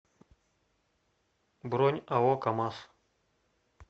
бронь ао камаз